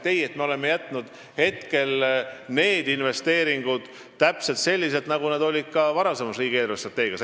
Ei, me oleme jätnud need investeeringud täpselt selliseks, nagu nad olid ka varasemas riigi eelarvestrateegias.